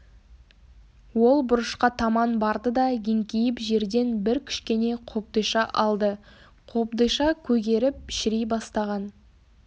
ол бұрышқа таман барды да еңкейіп жерден бір кішкене қобдиша алды қобдиша көгеріп шіри бастаған